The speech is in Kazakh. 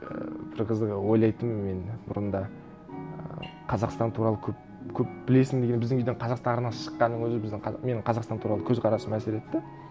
ііі бір қызығы ойлайтынмын мен бұрында і қазақстан туралы көп көп білесің деген біздің үйден қазақстан арнасы шыққанның өзі біздің менің қазақстан туралы көзқарасыма әсер етті